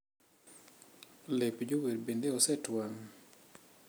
Lep jower bende osetwang?